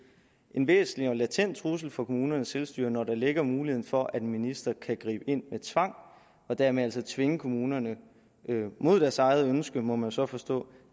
en væsentlig og latent trussel for kommunernes selvstyre når der ligger muligheden for at en minister kan gribe ind med tvang og dermed altså tvinge kommunerne mod deres eget ønske må man så forstå